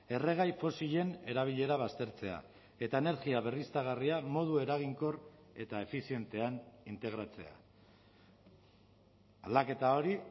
erregai fosilen erabilera baztertzea eta energia berriztagarriak modu eraginkor eta efizientean integratzea aldaketa hori